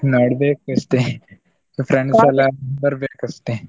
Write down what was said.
ನೋಡ್ಬೇಕಷ್ಟೆ ಎಲ್ಲಾ ಬರ್ಬೇಕಷ್ಟೆ.